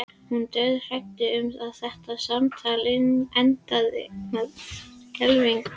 Hún er dauðhrædd um að þetta samtal endi með skelfingu.